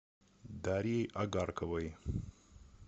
дарьей огарковой